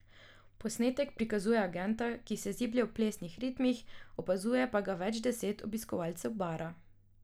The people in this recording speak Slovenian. Posnetek prikazuje agenta, kako se ziblje v plesnih ritmih, opazuje pa ga več deset obiskovalcev bara.